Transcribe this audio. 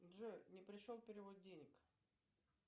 джой не пришел перевод денег